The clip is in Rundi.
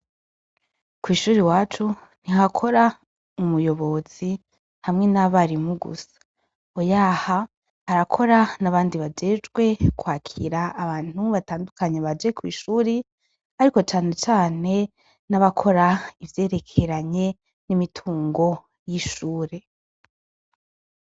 Kw'ishure iwacu, ntihakora umuyobozi hamwe n'abarimu gusa. Oyaha, harakora n'abandi bajejwe kwakira abantu batandukanye baje kw'ishuri, ariko cane cane n'abakora ivyerekeranye n'imitungo y'ishuri.